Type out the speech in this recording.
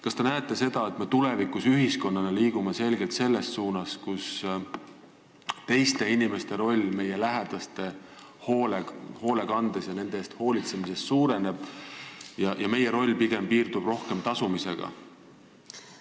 Kas te näete seda, et me tulevikus ühiskonnana liigume selgelt selles suunas, et suureneb teiste inimeste roll meie lähedaste eest hoolitsemises ja meie roll piirdub pigem rohkem tasumisega?